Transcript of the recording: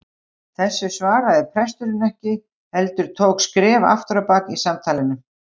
Þessu svaraði presturinn ekki heldur tók skref aftur á bak í samtalinu.